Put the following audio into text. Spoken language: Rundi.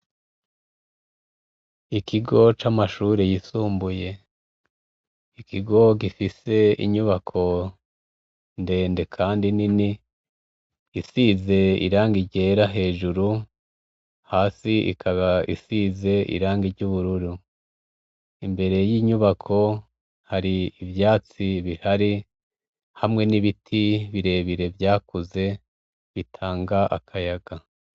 Ikigo c'amashure y'isumbuye, ikigo gifise inyubako ndende kandi nini, isize irangi ryera hejuru, hasi ikaba isize irangi ry'ubururu, imbere y'inyubako hari ivyatsi bihari, hamwe n'ibiti birebire vyakuze bitanga akayaga.